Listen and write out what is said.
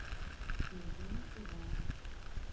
евгений иванович